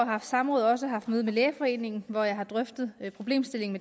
haft samråd også haft møde med lægeforeningen hvor jeg har drøftet problemstillingen